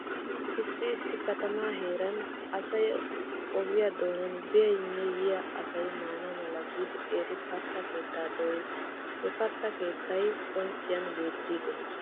Issi issi katamaa heeran asay oge doonan biyanne yiya asay maana mala giidi qeeri katta keettaa dooyees. He kaatta keettay qoncciyan beettiiggees.